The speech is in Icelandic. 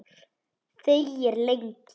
Þegir lengi.